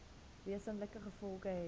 wesenlike gevolge hê